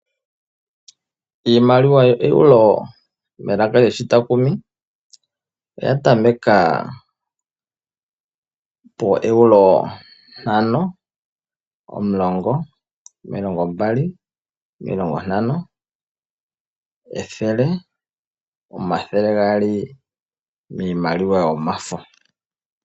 Iimaliwa yooEruoro melaka lyoshitakumi oya tameka pooEuro ntano, omulongo, omilongo mbali, omilongo ntano, ethele, omathele gaali miimaliwa yomafo.